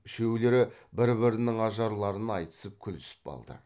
үшеулері бір бірінің ажарларын айтысып күлісіп алды